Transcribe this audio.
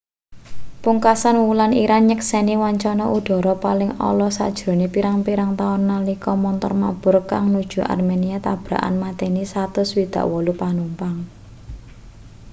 pungkasan wulan iran nyekseni wancana udhara paling ala sajrone pirang-pirang taun nalika montor mabur kang nuju armenia tabrakan mateni 168 panumpang